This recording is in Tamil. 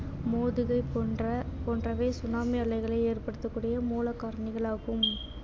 போன்ற போன்றவை tsunami அலைகளை ஏற்படுத்தக்கூடிய மூல காரணிகளாகும்